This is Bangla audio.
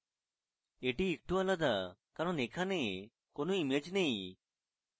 এটি একটু আলাদা কারণ এখানে কোনো ইমেজ নেই